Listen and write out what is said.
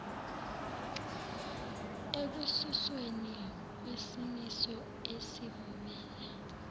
ekususweni kwesimiso esivumela